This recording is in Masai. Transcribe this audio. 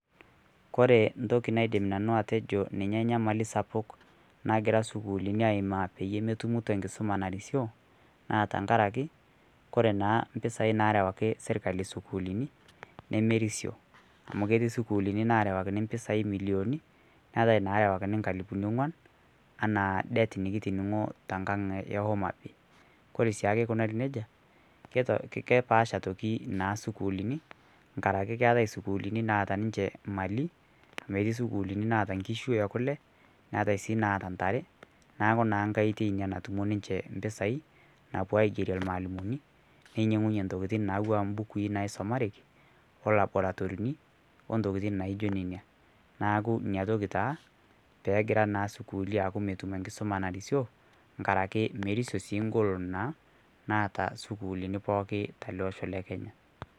kore ntoki naidim nanuu atejo ninye nyamali sapuk nagira sukuulini aimaa pemetumitoo nkisoma narisio naa tankarake kore naa mpisai narewaki sirkalii sukulinii nemerisio amu keti sukuulini narewakini mpisai milioni naatai narawakini nkalipuni ongwan ana det nikitiningoo te nkang ee homabay kore siake eikunari neja kepaasha naa otoki sukuulini nkarake keatai sukuulini naata ninshe malii naatai meti sukuuli naata nkishuu ee kulee neatai sii naata ntare naaku naa nghai oitei inia natumie ninshhe mpisai napuo aigerie lmaalimoni neinyengunyee ntokitin natuwaa mbukui naisomareki olabaratorinii o ntookitin naijo nenia naaku inia toki taa peegira naa sukuuli aaku metum enkisoma narisio ngarake merisio ngolon naa naata sukuulini pooki talee oshoo le kenya